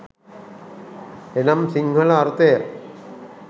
එනම් සිංහල අර්ථය